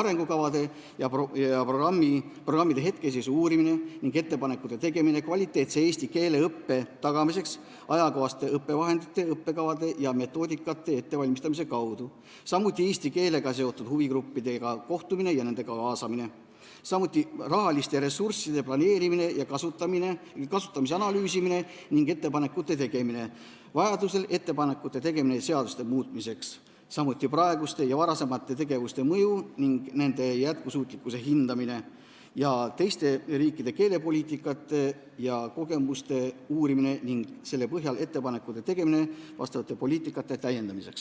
arengukavade ja programmide hetkeseisu uurimine ning ettepanekute tegemine kvaliteetse eesti keele õppe tagamiseks ajakohaste õppevahendite, õppekavade ja metoodikate ettevalmistamise kaudu; eesti keelega seotud huvigruppidega kohtumine ja nende kaasamine; rahaliste ressursside planeerimise ja kasutamise analüüsimine ning ettepanekute tegemine; vajadusel ettepanekute tegemine seaduste muutmiseks; samuti praeguste ja varasemate tegevuste mõju ning nende jätkusuutlikkuse hindamine; teiste riikide keelepoliitikate ja kogemuste uurimine ning selle põhjal ettepanekute tegemine vastavate poliitikate täiendamiseks.